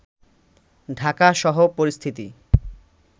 ঢাকাসহ পরিস্থিতি